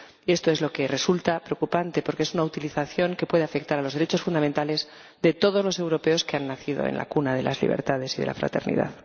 Y esto es lo que resulta preocupante, porque es una utilización que puede afectar a los derechos fundamentales de todos los europeos, que han nacido en la cuna de las libertades y de la fraternidad.